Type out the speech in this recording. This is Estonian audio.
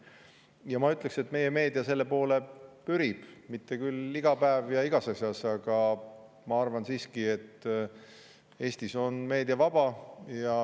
Ja ma ütleksin, et meie meedia selle poole pürib, mitte küll iga päev ja igas asjas, aga ma arvan siiski, et Eestis on meedia vaba.